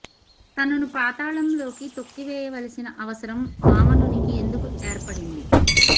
తనను పాతాళం లోకి తొక్కివేయవలసిన అవసరం వామనునికి ఎందు కు ఏర్పడింది